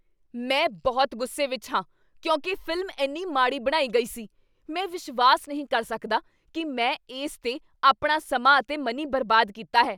ਮੈਂ ਬਹੁਤ ਗੁੱਸੇ ਵਿਚ ਹਾਂ ਕਿਉਂਕਿ ਫ਼ਿਲਮ ਇੰਨੀ ਮਾੜੀ ਬਣਾਈ ਗਈ ਸੀ। ਮੈਂ ਵਿਸ਼ਵਾਸ ਨਹੀਂ ਕਰ ਸਕਦਾ ਕੀ ਮੈਂ ਇਸ 'ਤੇ ਆਪਣਾ ਸਮਾਂ ਅਤੇ ਮਨੀ ਬਰਬਾਦ ਕੀਤਾ ਹੈ।